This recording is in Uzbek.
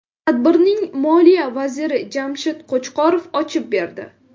Tadbirning Moliya vaziri Jamshid Qo‘chqorov ochib berdi.